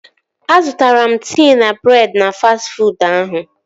Azụtara m tii na breedị na fastị fuud ahụ